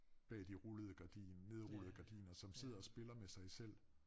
Bag de rullede gardin nedrullede gardiner som sidder og spiller med sig selv